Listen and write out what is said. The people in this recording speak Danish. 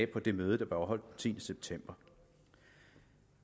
på det møde der blev afholdt den tiende september